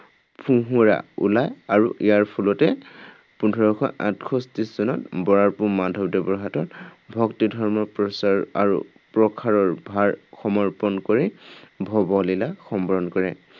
ফোঁহোৰা ওলায় আৰু ইয়াৰ ফলতেই পোন্ধৰশ আঠষষ্ঠি চনত বৰাৰ পো মাধৱদেৱৰ হাতত ভক্তিধৰ্ম প্ৰচাৰ আৰু প্ৰসাৰৰ ভাৰ সমৰ্পণ কৰি ভৱলীলা সম্বৰণ কৰে।